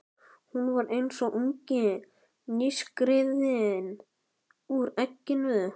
Hún var eins og ungi nýskriðinn úr egginu.